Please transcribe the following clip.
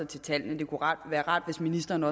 til tallene det kunne være rart hvis ministeren